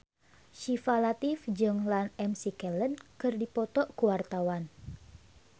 Syifa Latief jeung Ian McKellen keur dipoto ku wartawan